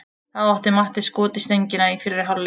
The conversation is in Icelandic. Þá átti Matti skot í stöngina í fyrri hálfleik.